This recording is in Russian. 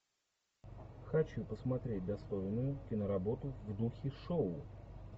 хочу посмотреть достойную киноработу в духе шоу